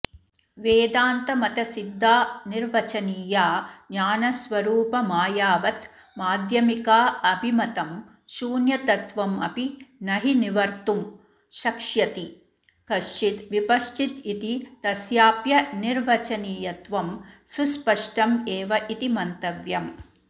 वेदान्तमतसिद्धाऽनिर्वचनीया ऽज्ञानस्वरूपमायावत् माध्यमिकाऽभिमतं शून्यतत्त्वमपि नहि निवर्तुं शक्ष्यति कश्चिद् विपश्चिदिति तस्याप्य निर्वचनीयत्वं सुस्पष्टमेवेति मन्तव्यम्